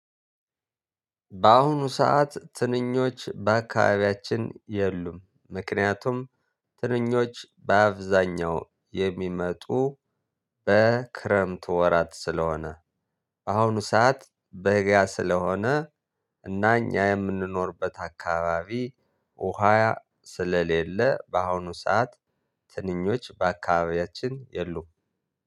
በአሁኑ ሰዓት ትንኞች በአካባቢያችን የሉም ምክንያቱም ትንኞች በአብዛኛው የሚመጡ በክረምት ወራት ስለሆነ። በአሁኑ ሰዓት በጋ ስለሆነ እና እኛ የምንኖርበት አካባቢ ውሃ ስለሌለ። በአሁኑ ሰዓት ትንኞች በአካባቢያችን የሉም።